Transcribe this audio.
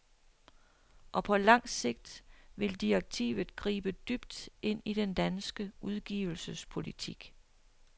Og på lang sigt vil direktivet gribe dybt ind i den danske udgivelsespolitik.